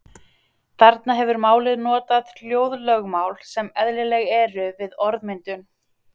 Þarna hefur málið notað hljóðlögmál sem eðlileg eru við orðmyndun.